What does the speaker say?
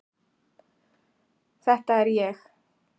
Þetta er ég.